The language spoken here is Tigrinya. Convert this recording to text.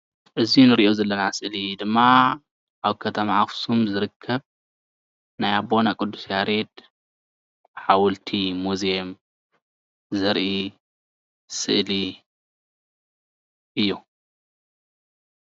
እዚ እንሪኦ ዘለና ስእሊ ድማ አብ ከተማ አኽሱም ዝርከብ ናይ አቦና ቅዱስ ያሬድ ሓወልቲ ሙዝየም ዘርኢ ስእሊ እዩ።